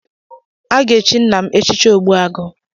A ga-echi nna m echichi ogbuagụ.